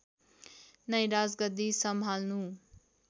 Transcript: नै राजगद्दी सम्हाल्नु